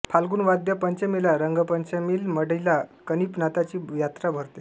फ़ाल्गुन वद्य पंचमीला रंगपंचमील मढीला कानिफनाथांची यात्रा भरते